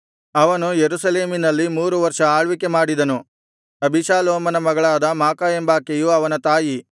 ಅವನು ಯೆರೂಸಲೇಮಿನಲ್ಲಿ ಮೂರು ವರ್ಷ ಆಳ್ವಿಕೆ ಮಾಡಿದನು ಅಬೀಷಾಲೋಮನ ಮಗಳಾದ ಮಾಕಾ ಎಂಬಾಕೆಯು ಅವನ ತಾಯಿ